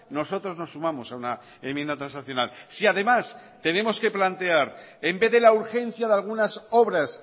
nosotros nos sumamos a una enmienda transaccional si además tenemos que plantear en vez de la urgencia de algunas obras